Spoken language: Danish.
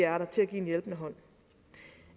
er der til at give en hjælpende hånd